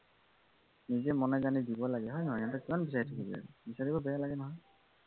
নিজে মনে জানি দিব লাগে হয় নহয় সিহতঁক কিমান বিচাৰি থাকিবি আৰু বিচাৰিবলৈও বেয়া লাগে নহয়